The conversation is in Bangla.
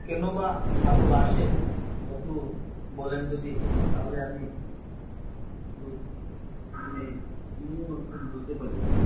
কেন বা ভালোবাসেন একটু বলেন যদি তাহলে আমি আমি বুঝতে পারি